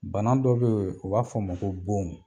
Bana dɔ be ye, u b'a f'ɔ ma ko bon